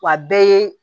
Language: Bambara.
Wa a bɛɛ ye